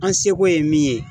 An seko ye min ye